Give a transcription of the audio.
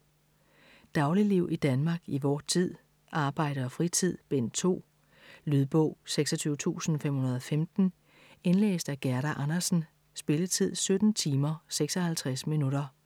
Dagligliv i Danmark i vor tid: Arbejde og fritid: Bind 2 Lydbog 26515 Indlæst af Gerda Andersen Spilletid: 17 timer, 56 minutter.